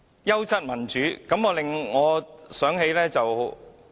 "優質民主"一詞，令我想到一些事。